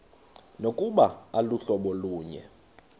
nokuba aluhlobo lunye